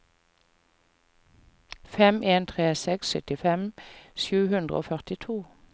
fem en tre seks syttifem sju hundre og førtito